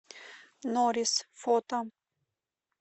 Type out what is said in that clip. норис фото